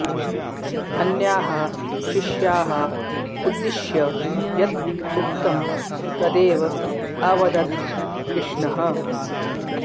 अन्याः शिष्याः उद्दिश्य यत् उक्तं तदेव अवदत् कृष्णः